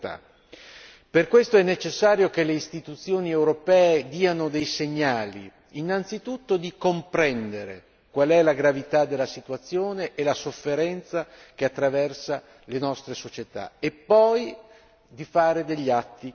Per questo è necessario che le istituzioni europee diano dei segnali, innanzitutto comprendere qual è la gravità della situazione e la sofferenza che attraversa le nostre società e poi di fare degli atti concreti.